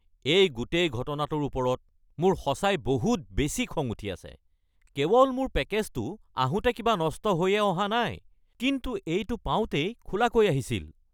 এই গোটেই ঘটনাটোৰ ওপৰত মোৰ সঁচাই বহুত বেছি খং উঠি আছে। কেৱল মোৰ পেকেজটো আহোঁতে কিবা নষ্ট হৈয়ে অহা নাই কিন্তু এইটো পাওঁতেই খোলাকৈ আহিছিল।